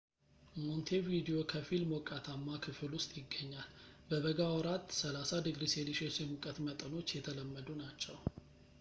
ሞንቴቪዲዮ ከፊል ሞቃታማ ክፍል ውስጥ ይገኛል፤ በበጋ ወራት፣ +30°c የሙቀት መጠኖች የተለመዱ ናቸው